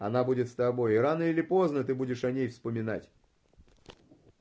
она будет с тобой рано или поздно ты будешь о ней вспоминать